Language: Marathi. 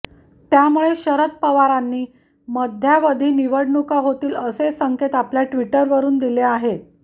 त्यामुळे शरद पवारांनी मध्यावधी निवडणुका होतील असे संकेत आपल्या ट्विटरवरुन दिले आहेत